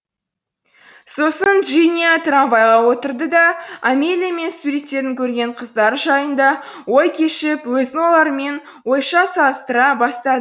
сосын джиния трамвайға отырды да амелия мен суреттерден көрген қыздары жайында ой кешіп өзін олармен ойша салыстыра бастады